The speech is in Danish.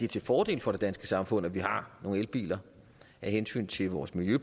til fordel for det danske samfund at vi har nogle elbiler af hensyn til vort miljø